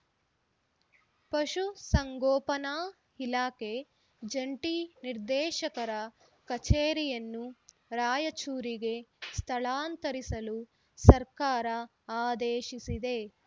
ಪಶು ಸಂಗೋಪನಾ ಇಲಾಖೆ ಜಂಟಿ ನಿರ್ದೇಶಕರ ಕಚೇರಿಯನ್ನು ರಾಯಚೂರಿಗೆ ಸ್ಥಳಾಂತರಿಸಲು ಸರ್ಕಾರ ಆದೇಶಿಸಿದೆ